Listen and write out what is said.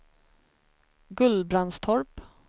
Gullbrandstorp